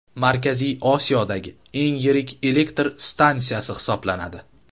Markaziy Osiyodagi eng yirik elektr stansiyasi hisoblanadi.